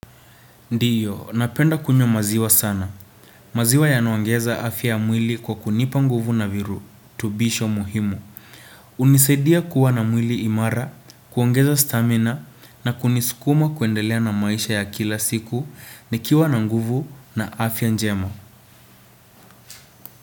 Ndiyo, napenda kunywa maziwa sana. Maziwa yanaongeza afya ya mwili kwa kunipa nguvu na viritubisho muhimu. Unisaidia kuwa na mwili imara, kuongeza stamina, na kunisukuma kuendelea na maisha ya kila siku, nikiwa na nguvu na afya njema.